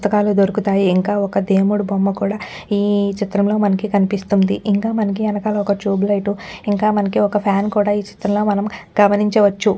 పుస్తకాలు దొరుకుతాయి ఇంకా ఒక దేముడు బొమ్మకూడా ఈ చిత్రం లో మనకి కనిపిస్తుంది ఇంక మనకి యెనకాల ఒక్క ట్యూబ్ లైట్ ఇంకా మనకి ఒక్క ఫ్యాన్ కూడా ఈ చిత్రంలో గమనించ వొచ్చు.